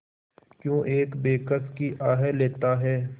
क्यों एक बेकस की आह लेता है